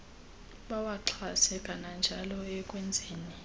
bawaxhase kananjalo ekwenzeni